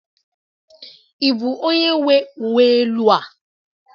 Ị bụ onye nwe uwe elu a?